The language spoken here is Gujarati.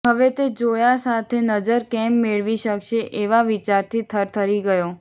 હવે તે ઝોયા સાથે નજર કેમ મેળવી શકશે એવા વિચારથી થરથરી ગયો